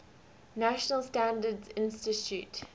national standards institute